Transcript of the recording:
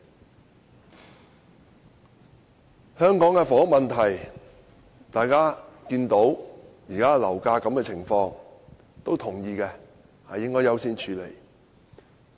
就香港的房屋問題，大家看到現時的樓價，也同意應要優先處理。